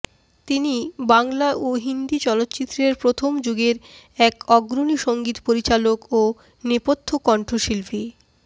তিনি বাংলা ও হিন্দি চলচ্চিত্রের প্রথম যুগের এক অগ্রণী সংগীত পরিচালক ও নেপথ্য কণ্ঠশিল্পী